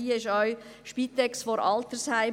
Hier gilt auch: Spitex vor Altersheim.